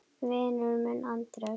Vinur minn Andrés!